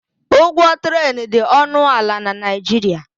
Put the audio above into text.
Ụgwọ trén dị ọnụ ala na Naịjirịa.